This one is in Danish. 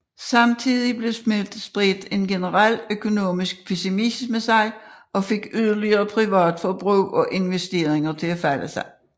Samtidig spredte en generel økonomisk pessimisme sig og fik yderligere privat forbrug og investeringer til at falde